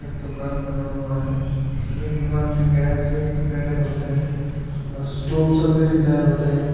दुकान बना हुआ है ये दुकान में गैस भी रिपेयर होते हैं और स्टोप सब भी रिपेयर होते हैं।